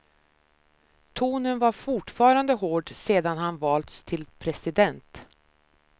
Tonen var fortfarande hård sedan han valts till president.